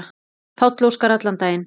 Páll Óskar allan daginn.